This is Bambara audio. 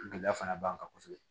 Gɛlɛya fana b'an kan kosɛbɛ